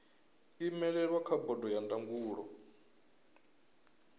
imelelwa kha bodo ya ndangulo